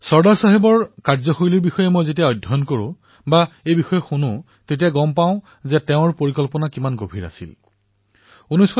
চৰ্দাৰ চাহাবৰ কাৰ্যশৈলীৰ বিষয়ে যেতিয়াও পঢ়ো শুনো তেতিয়াই তেওঁৰ পৰিকল্পনা কিমান শক্তিশালী আছিল সেয়া অনুধাৱন কৰো